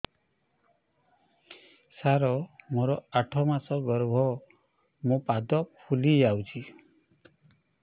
ସାର ମୋର ଆଠ ମାସ ଗର୍ଭ ମୋ ପାଦ ଫୁଲିଯାଉଛି